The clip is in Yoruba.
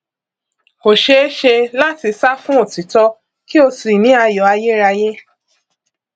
kò ṣeé ṣe láti sá fún òtítọ kí o sì ní ayọ ayérayé